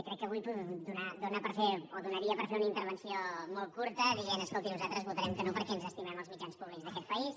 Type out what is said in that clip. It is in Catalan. crec que avui donaria per fer una intervenció molt curta dient escolti nosaltres votarem que no perquè ens estimem els mitjans públics d’aquest país